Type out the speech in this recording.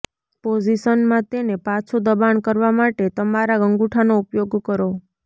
પોઝિશનમાં તેને પાછું દબાણ કરવા માટે તમારા અંગૂઠાનો ઉપયોગ કરો